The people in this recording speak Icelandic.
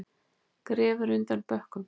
Grefur undan bönkum